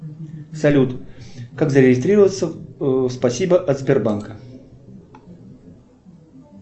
салют как зарегистрироваться в спасибо от сбербанка